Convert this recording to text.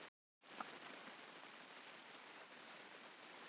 Lára Ómarsdóttir: Á hverju strandar málið?